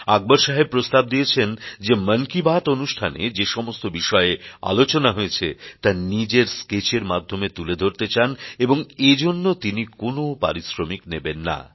আকবর সাহেব প্রস্তাব দিয়েছেন যে মন কি বাত অনুষ্ঠানে যেসমস্ত বিষয়ে আলোচনা হয়েছে তা নিজের স্কেচের মাধ্যমে তুলে ধরতে চান এবং এজন্য তিনি কোনো পারিশ্রমিক নেবেন না